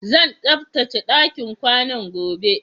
Zan tsaftace ɗakin ƙwanan gobe